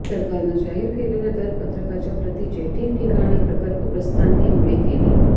सरकरनं जाहीर केलेल्या दर पत्रकाच्या प्रतीची ठिकठिकाणी प्रकल्पग्रस्तांनी होळी केली